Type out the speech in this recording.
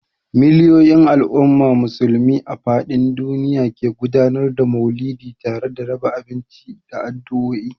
Miliyoyin al’ummar Musulmi a fadin duniya ne ke gudanar da Mauludi tare da raba abinci da addu'o'i.